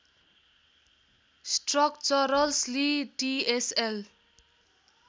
structurals लि TSL